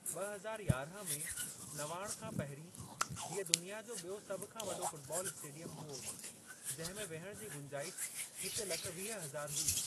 ब॒ हज़ार यारहं में नवाण खां पहिरीं हीअ दुनिया जो बि॒यो सभु खां वॾो फुटबॉल स्टेडियम हुओ जिंहिं में विहणु जी गुंजाइशु हिक लख वीह हज़ार हुई।